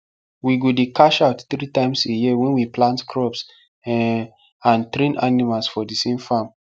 we go dey cash out tree times a year wen we plant crops um and train animals for thesame farm